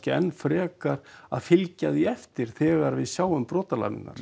ekki frekar að fylgja því eftir þegar við sjáum brotin